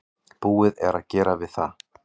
Búið er að gera við það.